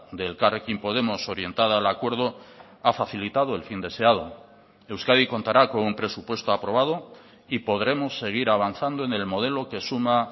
de elkarrekin podemos orientada al acuerdo ha facilitado el fin deseado euskadi contará con un presupuesto aprobado y podremos seguir avanzando en el modelo que suma